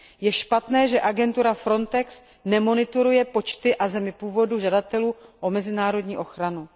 Je špatné, že agentura Frontex nemonitoruje počty a země původu žadatelů o mezinárodní ochranu.